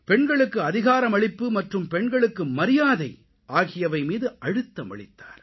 பெண்களுக்கு அதிகாரமளிப்பு மற்றும் பெண்களுக்கு மரியாதை ஆகியவை மீது அழுத்தம் அளித்தார்